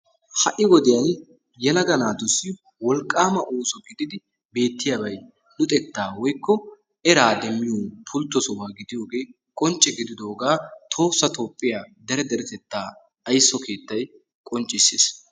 Ha'i wodiyaan yelaga naatussi wolqqama ooso gididi beettiyaabay luxetta woykko era demmiyo pultto sohuwa gidiyooge qoncce gididoogaa tohossa toophiya dere deretetta ayso keettay qoncciissiis.